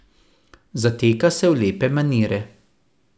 Zateka se v lepe manire.